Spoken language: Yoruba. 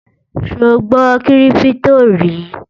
sò gbó kírìpitò rí?